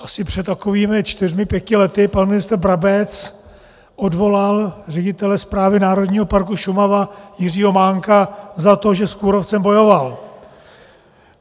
Asi před takovými čtyřmi pěti lety pan ministr Brabec odvolal ředitele Správy Národního parku Šumava Jiřího Mánka za to, že s kůrovcem bojoval.